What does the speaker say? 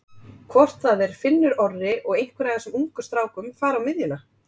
Hvort það er Finnur Orri og einhver af þessum ungu strákum fari á miðjuna?